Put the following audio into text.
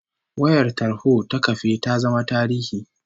Wayar tarho ta kafe ta zama tarihi